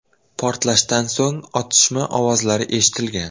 Portlashdan so‘ng otishma ovozlari eshitilgan.